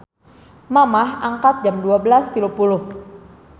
Mamah angkat jam 12.30